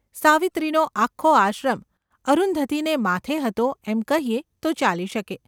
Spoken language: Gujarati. સાવિત્રીનો આખો આશ્રમ અરુંધતીને માથે હતો એમ કહીએ તો ચાલી શકે.